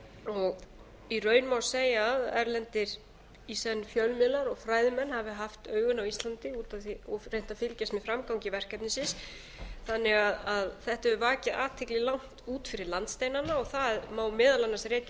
og í raun má segja að erlendir fjölmiðlar og fræðimenn hafi haft augun á íslandi og reynt að fylgjast með framgangi verkefnisins þannig að þetta hefur vakið athygli langt út fyrir landsteinana og það má meðal annars rekja